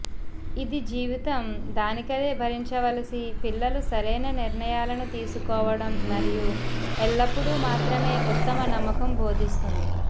ఇది జీవితం దానికదే భరించవలసి పిల్లలు సరైన నిర్ణయాలను తీసుకోవడం మరియు ఎల్లప్పుడూ మాత్రమే ఉత్తమ నమ్మకం బోధిస్తుంది